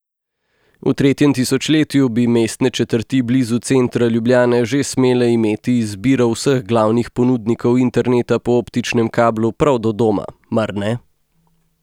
V tretjem tisočletju bi mestne četrti blizu centra Ljubljane že smele imeti izbiro vseh glavnih ponudnikov interneta po optičnem kablu prav do doma, mar ne?